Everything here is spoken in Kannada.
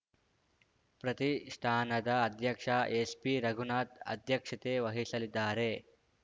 ಪ್ರತಿಷ್ಠಾನದ ಅಧ್ಯಕ್ಷ ಎಸ್‌ಬಿರಘುನಾಥ್‌ ಅಧ್ಯಕ್ಷತೆ ವಹಿಸಲಿದ್ದಾರೆ